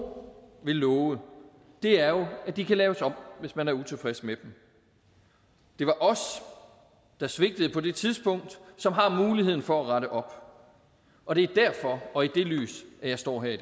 ved love er jo at de kan laves om hvis man er utilfreds med dem det var os der svigtede på det tidspunkt som har muligheden for at rette op og det er derfor og i det lys at jeg står her i